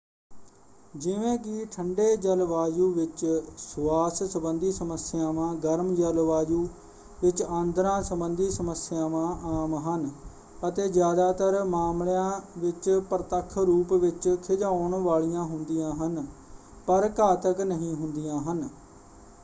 ਜਿਵੇਂ ਕਿ ਠੰਡੇ ਜਲਵਾਯੂ ਵਿੱਚ ਸੁਆਸ ਸੰਬੰਧੀ ਸਮੱਸਿਆਵਾਂ ਗਰਮ ਜਲਵਾਯੂ ਵਿੱਚ ਆਂਦਰਾਂ ਸੰਬੰਧੀ ਸਮੱਸਿਆਵਾਂ ਆਮ ਹਨ ਅਤੇ ਜ਼ਿਆਦਾਤਰ ਮਾਮਲਿਆਂ ਵਿੱਚ ਪ੍ਰਤੱਖ ਰੂਪ ਵਿੱਚ ਖਿਝਾਉਣ ਵਾਲੀਆਂ ਹੁੰਦੀਆਂ ਹਨ ਪਰ ਘਾਤਕ ਨਹੀਂ ਹੁੰਦੀਆ ਹਨ।